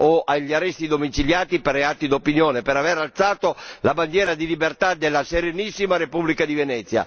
o agli arresti domiciliari per reati d'opinione, per aver alzato la bandiera di libertà della Serenissima Repubblica di Venezia.